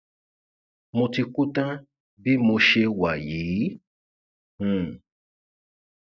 mo ti kú tán bí mo ṣe wà yìí um